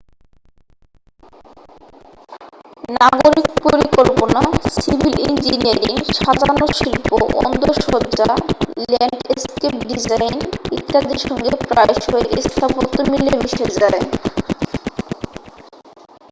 নাগরিক পরিকল্পনা civil engineering সাজানোর শিল্প অন্দরসজ্জা ল্যান্ডস্কেপ ডিজাইন ইত্যাদির সঙ্গে প্রায়শই স্থাপত্য মিলেমিশে যায়